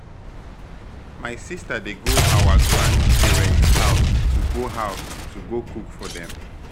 My sister dey go our grandparents house to go house to go cook for dem